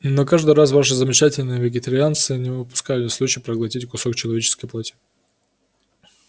но каждый раз ваши замечательные вегетарианцы не упускали случая проглотить кусок человеческой плоти